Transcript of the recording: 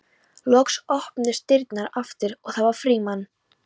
Loks opnuðust dyrnar aftur og það var Frímann.